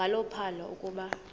njalo uphalo akuba